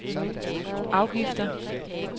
afgifter